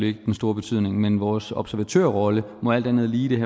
ikke den store betydning men vores observatørrolle må alt andet lige